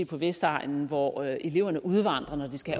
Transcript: på vestegnen hvor eleverne udvandrer når de skal